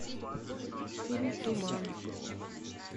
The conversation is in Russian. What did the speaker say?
фильм туман